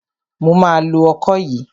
Mo ma lo ọkọ yìí.